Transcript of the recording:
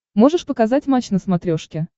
можешь показать матч на смотрешке